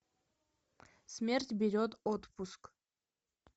смерть берет отпуск